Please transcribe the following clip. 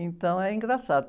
Então, é engraçado.